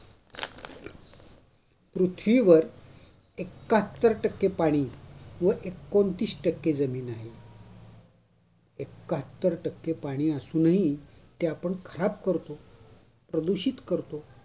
पृथ्वीवर एकाहत्तर टक्के पाणी व एकोणतीस टक्के जमीन आहे. एकाहत्तर टक्के पाणी असूनही ते आपण खराब करतो. प्रदूषित करतो.